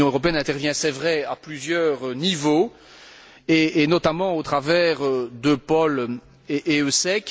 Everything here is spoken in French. l'Union européenne intervient, c'est vrai, à plusieurs niveaux et, notamment, au travers d'EUPOL et d'EUSEC.